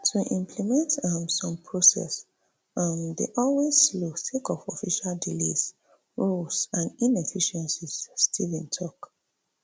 to implement um some process um dey always slow sake of official delays rules and inefficiencies steven tok